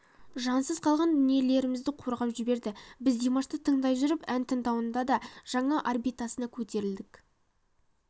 жансыз қалған дүниелерімізді қозғап жіберді біз димашты тыңдай жүріп ән тыңдаудың да жаңа орбитасына көтерілдік